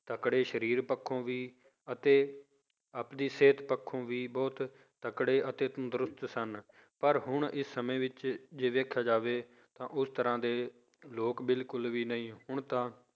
ਤਕੜੇ ਸਰੀਰ ਪੱਖੋਂ ਵੀ ਅਤੇ ਆਪਦੀ ਸਿਹਤ ਪੱਖੋਂ ਵੀ ਬਹੁਤ ਤਕੜੇ ਅਤੇ ਤੰਦਰੁਸਤ ਸਨ, ਪਰ ਹੁਣ ਇਹ ਸਮੇਂ ਵਿੱਚ ਜੇ ਦੇਖਿਆ ਜਾਵੇ ਤਾਂ ਉਸ ਤਰ੍ਹਾਂ ਦੇ ਲੋਕ ਬਿਲਕੁਲ ਵੀ ਨਹੀਂ ਹੁਣ ਤਾਂ